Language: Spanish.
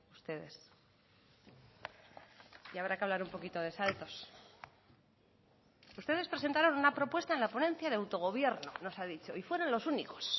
ustedes y habrá que hablar un poquito de saltos ustedes presentaron una propuesta en la ponencia de autogobierno nos ha dicho y fueron los únicos